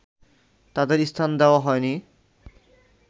তাঁদের স্থান দেওয়া হয়নি